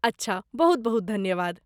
अच्छा, बहुत बहुत धन्यवाद।